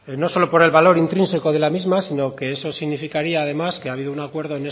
no solo por el valor intrínseco de la misma sino que eso significaría además que ha habido un acuerdo